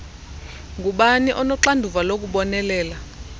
ngubani onoxanduva lokubonelela